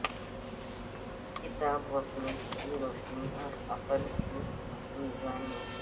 کتاب وسنت کی روشنی اور عقل کی میزان میں